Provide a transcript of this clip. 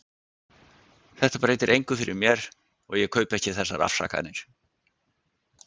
Þetta breytir engu fyrir mér- og ég kaupi ekki þessar afsakanir.